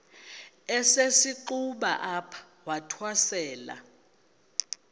esisenxuba apho wathwasela